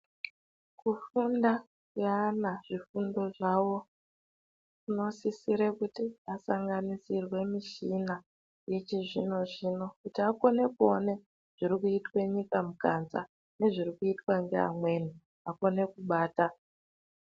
Kufunda kweana zvifundo zvavo kunosisire kuti asanganisirwe mushina yechizvino-zvino kuti akone kuone zviri kuitwe nyika mukanza nezviri kuitwa ngeamweni vakone kubata.